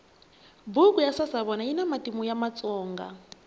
buku ya sasavona yina matimu ya vatsonga